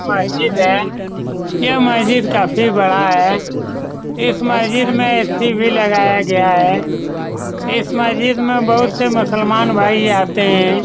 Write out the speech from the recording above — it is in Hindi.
मस्जिद है यह मस्जिद काफी बड़ा है इस मस्जिद में ए.सी. भी लगाया गया है इस मस्जिद में बहुत सारे मुस्लमान भाई आते हैं ।